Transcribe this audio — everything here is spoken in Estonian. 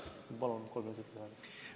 Ma palun kolm minutit lisaaega!